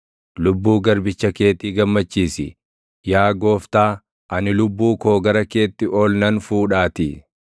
Lubbuu garbicha keetii gammachiisi; yaa Gooftaa, ani lubbuu koo gara keetti oli nan fuudhaatii.